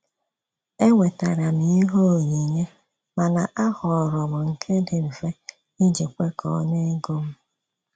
Ewetara m ihe onyinye, mana a họọrọ m nke dị mfe iji kwekọọ na ego m.